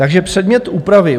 Takže předmět úpravy.